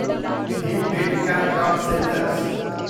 Bhimbetka rock shelters